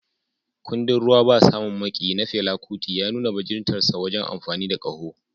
Kundin "Ruwa Ba Samun Maƙiyi" na Fela Kuti ya nuna bajintar sa wajen amfani da ƙaho.